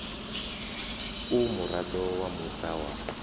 u muraḓo wa muṱa wa